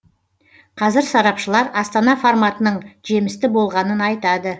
қазір сарапшылар астана форматының жемісті болғанын айтады